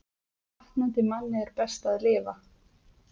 Batnandi manni er best að lifa